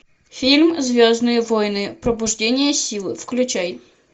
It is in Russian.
фильм звездные воины пробуждение силы включай